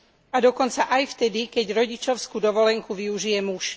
A dokonca aj vtedy, keď rodičovskú dovolenku využije muž.